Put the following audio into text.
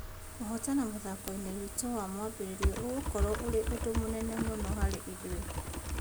Kũhotana mũthakoinĩ witũ wa mwambĩrĩrio ũgũkorwo ũrĩ ũndũ mũnene mũno harĩ ithuĩ.